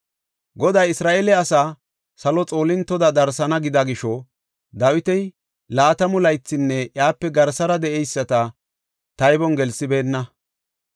Goday Isra7eele asaa salo xoolintoda darsana gida gisho Dawiti laatamu laythinne iyape garsara de7eyisata taybon gelsibeenna.